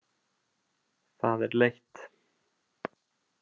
Það er leitt.